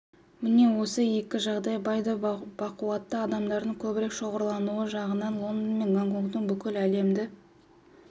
міне осы екі жағдай бай да бақуатты адамдардың көбірек шоғырлануы жағынан лондон мен гонконгтың бүкіл әлемді